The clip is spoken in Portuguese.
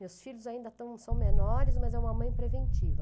Meus filhos ainda estão são menores, mas é uma mãe preventiva.